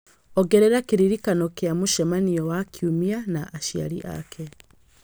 ongerera kĩririkano kĩa mũcemanio wa kiumia na aciari ake